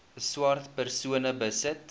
swart persone besit